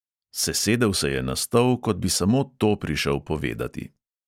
Sesedel se je na stol, kot bi samo to prišel povedati.